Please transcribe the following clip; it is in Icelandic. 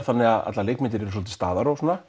þannig að allar leikmyndir eru svolítið